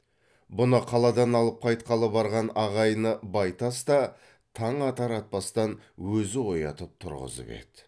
бұны қаладан алып қайтқалы барған ағайыны байтас та таң атар атпастан өзі оятып тұрғызып еді